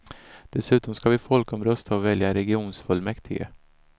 Dessutom ska vi folkomrösta och välja regionfullmäktige.